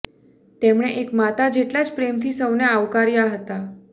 તેમણે એક માતા જેટલા જ પ્રેમથી સૌને આવકાર્યા હતા